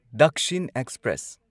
Dakshin express